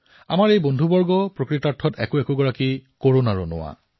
আমাৰ এই সকলো সতীৰ্থই প্ৰকৃততেই কৰোনা যোদ্ধাৰ ৰূপত অৱতীৰ্ণ হৈছে